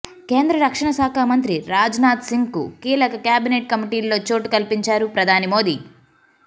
కేంద్ర రక్షణశాఖ మంత్రి రాజ్ నాథ్ సింగ్ కు కీలక కేబినెట్ కమిటీల్లో చోటు కల్పించారు ప్రధాని మోదీ